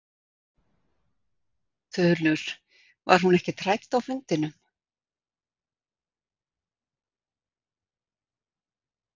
Þulur: Var hún ekkert rædd á fundinum?